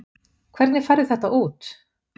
Hvernig færðu þetta út?